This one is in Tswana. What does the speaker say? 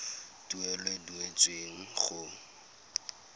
tuelo e e duetsweng go